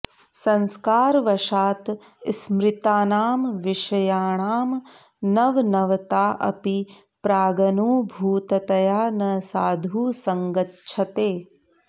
संस्कारवशात् स्मृतानां विषयाणां नवनवताऽपि प्रागनुभूततया न साधु सङ्गच्छते